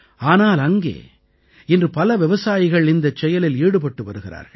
ஆனால் அங்கே இன்று பல விவசாயிகள் இந்தச் செயலில் ஈடுபட்டு வருகிறார்கள்